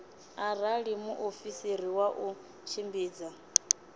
arali muofisiri wa u tshimbidza